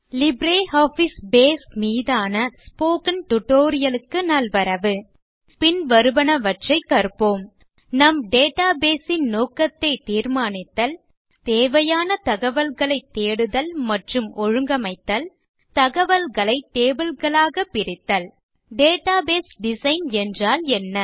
LibreOffice base மீதான spoken tutorial க்கு நல்வரவு பின்வருவனவற்றைக் கற்போம் நம் டேட்டாபேஸ் ன் நோக்கத்தைத் தீர்மானித்தல் தேவையான தகவல்களைத் தேடுதல் மற்றும் ஒழுங்கமைத்தல் தகவல்களை tableகளாக பிரித்தல் டேட்டாபேஸ் டிசைன் என்றால் என்ன